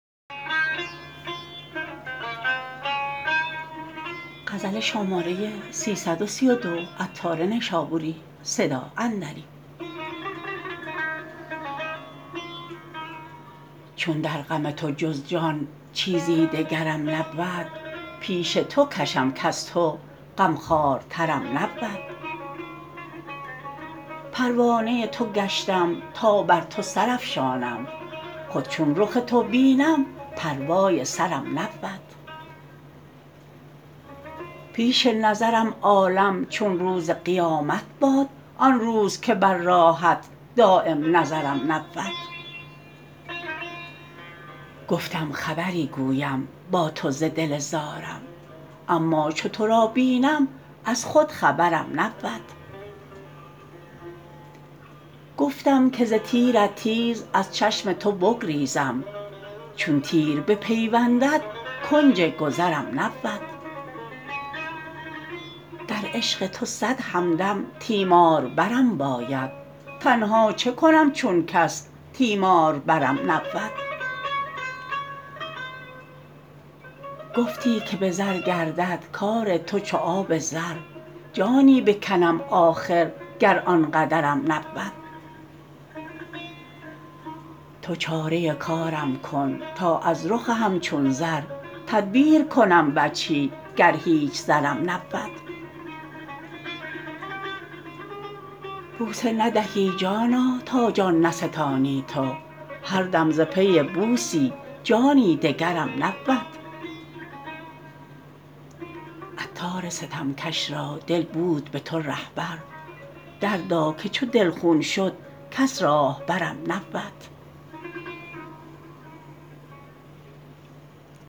چو در غم تو جز جان چیزی دگرم نبود پیش تو کشم کز تو غمخوارترم نبود پروانه تو گشتم تا بر تو سرافشانم خود چون رخ تو بینم پروای سرم نبود پیش نظرم عالم چون روز قیامت باد آن روز که بر راهت دایم نظرم نبود گفتم خبری گویم با تو ز دل زارم اما چو تو را بینم از خود خبرم نبود گفتم که ز تیرت تیز از چشم تو بگریزم چون تیر بپیوندد کنج گذرم نبود در عشق تو صد همدم تیماربرم باید تنها چه کنم چون کس تیماربرم نبود گفتی که به زر گردد کار تو چو آب زر جانی بکنم آخر گر آن قدرم نبود تو چاره کارم کن تا از رخ همچون زر تدبیر کنم وجهی گر هیچ زرم نبود بوسی ندهی جانا تا جان نستانی تو هر دم ز پی بوسی جانی دگرم نبود عطار ستمکش را دل بود به تو رهبر دردا که چو دل خون شد کس راهبرم نبود